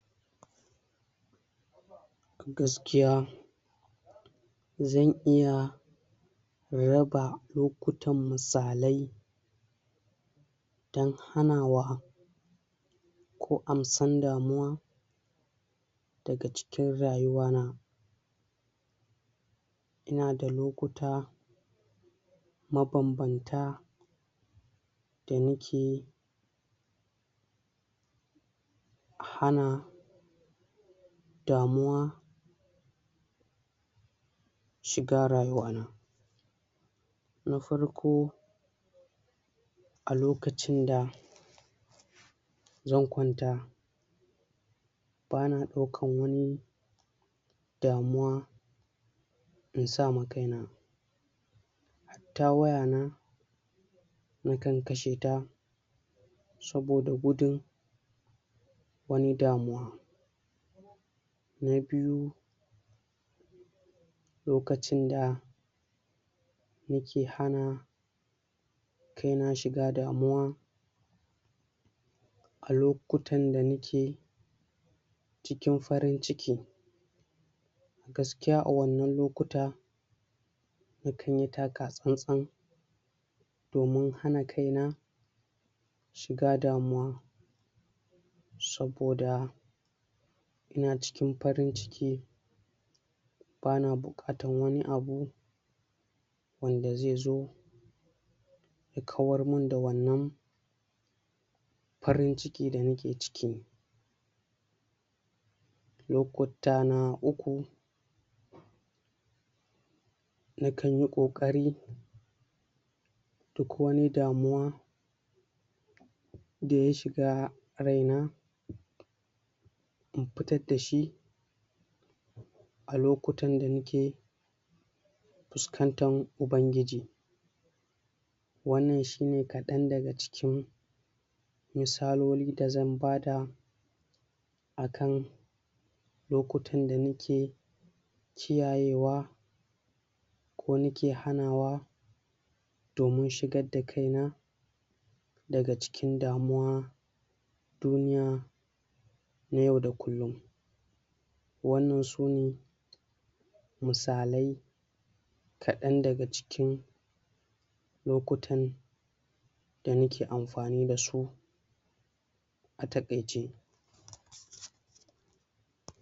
Gaskiya zan iya raba lokutan misalai dan hanawa ko amsan damuwa daga cikin rayuwana inada lokuta ma banbanta danake hana damuwa a rayuwa na da farko alokacin da zan kwaunta bana ɗaukan wani damuwa insama kaina ta wayana nakan kasheta saboda gudun wani damuwa na biyu lokacin da nake hana se na shiga damuwa a lokutan da nake cikin farin ciki gaskiya a wannan lokuta nakanyi taka tsantsan domin hana kaina shiga damuwa saboda yana cikin farin ciki bana buƙatan wani abu wanda zezo ya kawar mun da wannan farin ciki da nake ciki lokuta na uku nakanyi koƙari duk wani damuwa daya shiga ryana in fitar dashi a lokutan da nake fuskantan Ubangiji wannan shine kaɗan daga cikin misaloli da zan bada akan lokutan da nake kiyaye wa ko nake hanawa domin shigar da kaina daga cikin damuwa duniya na yau da kullun wannan sune misalai kaɗan daga cikin lokutan da nake amfani dasu a ta kaice